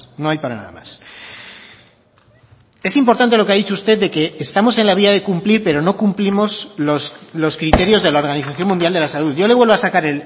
no hay para nada más es importante lo que ha dicho usted de que estamos en la vía de cumplir pero no cumplimos los criterios de la organización mundial de la salud yo le vuelvo a sacar